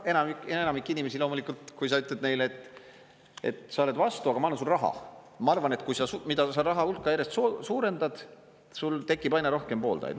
Enamik inimesi, loomulikult, kui sa ütled, et sa oled vastu, aga ma annan sulle raha – ma arvan, et kui sa seda raha hulka järjest suurendad, siis sul tekib aina rohkem pooldajaid.